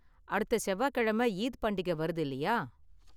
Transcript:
அடுத்த செவ்வாய்க்கிழமை ஈத் பண்டிகை வருது இல்லயா?